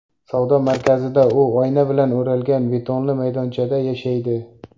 Savdo markazida u oyna bilan o‘ralgan betonli maydonchada yashaydi.